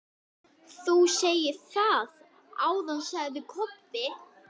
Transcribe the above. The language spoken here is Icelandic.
Finnboga, hver syngur þetta lag?